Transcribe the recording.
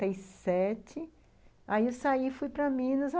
Aí eu saí, fui para Minas.